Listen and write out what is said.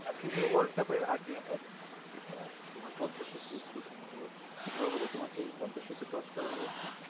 FIFA world cup এর আগে আবার তোমার পদ্দা সেতু উদ্বোধন হলো আচ্ছা ভালো কথা তোমার কি পদ্দা সেতু crosh করা হয়েছে